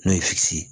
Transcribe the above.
N'o ye ye